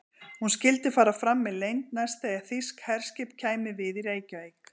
Hún skyldi fara fram með leynd, næst þegar þýskt herskip kæmi við í Reykjavík.